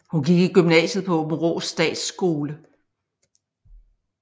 Hun gik i gymnasiet på Aabenraa Statsskole